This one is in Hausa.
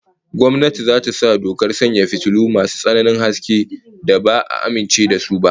Gwamnati za ta sa dokar sanya fitilu masu tsananin haske da ba'a amince da su ba